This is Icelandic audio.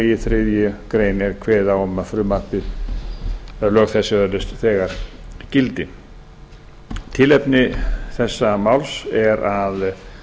í þriðju grein er kveðið á um að lög þessi öðlast þegar gildi tilefni þessa máls er að